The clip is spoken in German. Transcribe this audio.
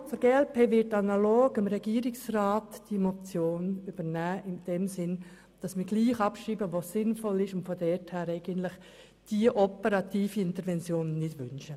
Die Fraktion glp wird sich analog dem Regierungsrat positionieren, indem wir abschreiben, was sinnvoll ist, und in diesem Sinn diese operative Intervention nicht wünschen.